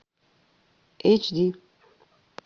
эйч ди